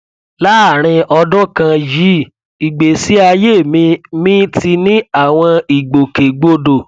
láàárín ọdún kan yìí ìgbésí ayé mi mi ti ní àwọn ìgbòkè gbodò